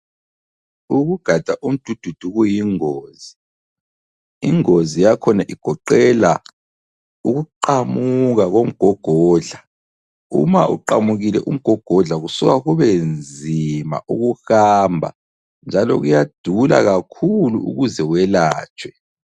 Ukugada umdududu kuyingozi ,ingozi yakhona igoqela ukuqamuka komgogodla, uma uqamukile umgogodla kusuka kube nzima ukuhamba njalo kuyadula kakhulu ukuze welatshwe.